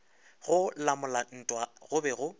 go lamola ntwa go be